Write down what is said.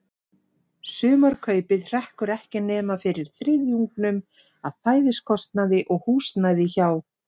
Sumarkaupið hrekkur ekki nema fyrir þriðjungnum af fæðiskostnaði og húsnæði hjá